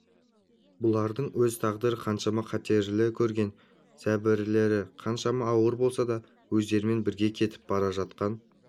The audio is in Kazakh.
бұлардың өз тағдыры қаншама қатерлі көрген зәбірлері қаншама ауыр болса да өздерімен бірге кетіп бара жатқан